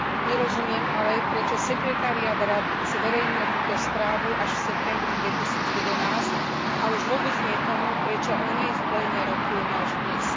Nerozumiem ale, prečo sekretariát Rady zverejnil túto správu až v septembri 2011 a už vôbec nie tomu, prečo o nej v pléne rokujeme až dnes.